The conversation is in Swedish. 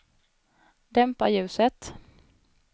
dämpa ljuset